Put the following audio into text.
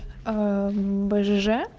аа мм бжж